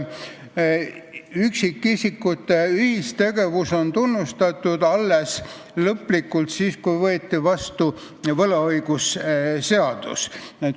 Üksikisikute ühistegevus sai lõplikult tunnustatuks alles siis, kui võeti vastu võlaõigusseadus.